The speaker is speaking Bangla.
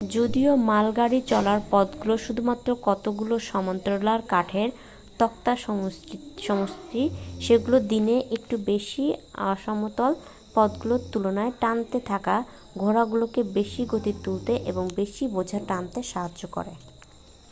যদিও মালগাড়ি চলার পথগুলো শুধুমাত্র কতগুলো সমান্তরাল কাঠের তক্তার সমষ্টি সেগুলো দিনের একটু বেশি অসমতল পথগুলোর তুলনায় টানতে থাকা ঘোড়াগুলোকে বেশি গতি তুলতে এবং বেশি বোঝা টানতে সাহায্য করে